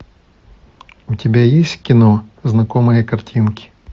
у тебя есть кино знакомые картинки